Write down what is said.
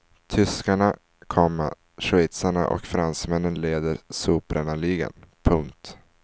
Tyskarna, komma schweizarna och fransmännen leder sopbrännarligan. punkt